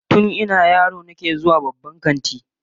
Tun ina yaro nake zuwa babban kanti